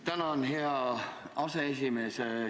Tänan, hea aseesimees!